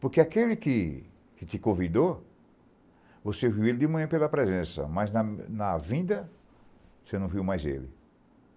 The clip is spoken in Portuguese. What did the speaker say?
Porque aquele que que te convidou, você viu ele de manhã pela presença, mas na na vinda você não viu mais ele.